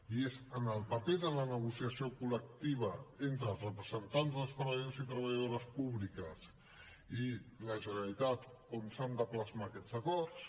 i és en el paper de la negociació col·lectiva entre els representants dels treballadors i treballadores públiques i la generalitat on s’han de plasmar aquests acords